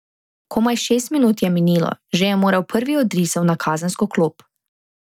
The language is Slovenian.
Komaj šest minut je minilo, že je moral prvi od risov na kazensko klop.